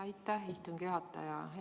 Aitäh, istungi juhataja!